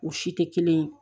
U si tɛ kelen ye